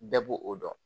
Bɛɛ b'o o dɔn